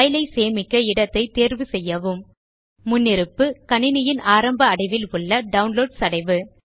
file ஐ சேமிக்க இடத்தை தேர்வு செய்யவும் முன்னிருப்பு கணிணியின் ஆரம்ப அடைவில் உள்ள டவுன்லோட்ஸ் அடைவு